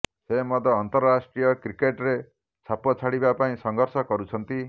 ସେ ମଧ୍ୟ ଅନ୍ତରାଷ୍ଟ୍ରୀୟ କ୍ରିକେଟ ରେ ଛାପ ଛାଡିବା ପାଇଁ ସଂଘର୍ଷ କରୁଛନ୍ତି